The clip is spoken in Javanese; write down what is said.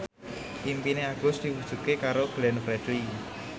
impine Agus diwujudke karo Glenn Fredly